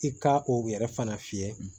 I ka o yɛrɛ fana fiyɛ